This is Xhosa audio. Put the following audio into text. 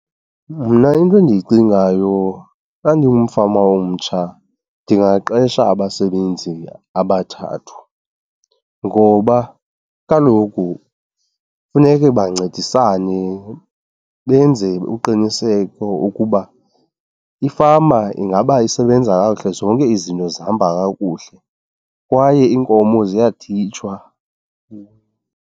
Mna into endiyicingayo xa ndingumfama omtsha ndingaqesha abasebenzi abathathu, ngoba kaloku funeke bancedisane benze uqiniseko ukuba ifama ingaba isebenza kakuhle, zonke izinto zihamba kakuhle kwaye iinkomo ziyaditshwa.